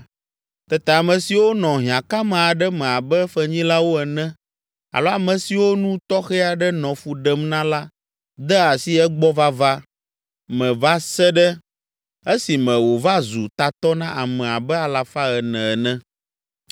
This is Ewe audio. Tete ame siwo nɔ hiãkame aɖe me abe fenyilawo ene alo ame siwo nu tɔxɛ aɖe nɔ fu ɖem na la de asi egbɔ vava me va se ɖe esime wòva zu tatɔ na ame abe alafa ene ene.